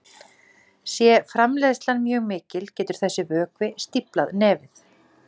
Sé framleiðslan mjög mikil getur þessi vökvi stíflað nefið.